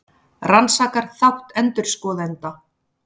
Rannsakar þátt endurskoðenda